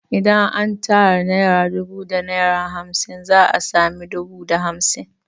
Idan an tara naira dubu da naira hamsin za a sami dubu da hamsin